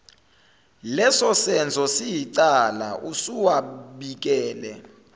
lesosenzo siyicala usuwabikele